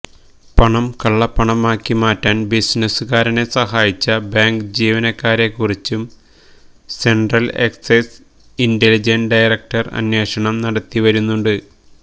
പണം കള്ളപ്പണമാക്കി മാറ്റാന് ബിസിനസുകാരനെ സഹായിച്ച ബാങ്ക് ജീവനക്കാരെക്കുറിച്ചും സെന്ട്രല് എക്സൈസ് ഇന്റലിജന്സ് ഡയറക്ടര് അന്വേഷണം നടത്തിവരുന്നുണ്ട്